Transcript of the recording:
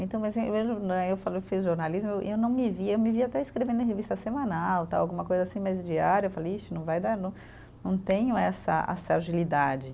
Então mas eu fiz jornalismo e eu não me via, eu me via até escrevendo em revista semanal tal, alguma coisa assim, mas diário, eu falei, ixi, não vai dar, não tenho essa essa agilidade.